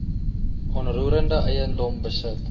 onroerende eiendom besit